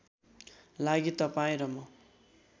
लागि तपाईँ र म